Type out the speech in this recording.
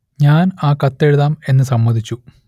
ഞാൻ ആ കത്ത് എഴുതാം എന്ന് സമ്മതിച്ചു